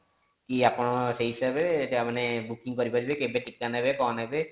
କି ଆପଣ ସେଇ ହିସାବରେ ମାନେ booking କରି ପାରିବେ କେତେ ଟୀକା ନେବେ କଣ ନେବେ